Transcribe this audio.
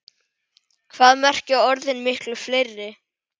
Hvað merkja orðin miklu fleiri?